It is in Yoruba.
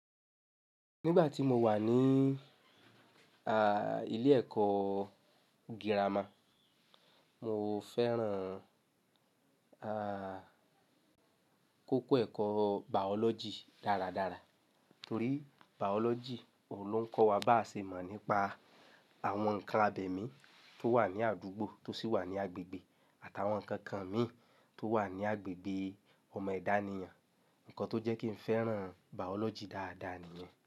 Nígbà tí mo wà ní, ilé ẹ̀kọ́ gírámà, mo fẹ́ràn, kókó ẹ̀kọ́ biology dáradára torí biology ọ̀ ló ń kọ́ wa bá ṣe mọ̀ nípa àwọn ǹnkan abẹ̀mí tó wà ní àdúgbò tó sì wà ní agbègbè àtàwọn ǹnkan kan mì tó wà ní agbègbè ọmọ èdánìyàn. Ǹnkan tó jẹ́ kí n fẹ́ràn biology dáadáa nìyẹn.